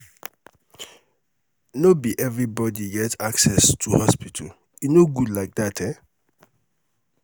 no be um everybody get um access to hospital e no good like dat. um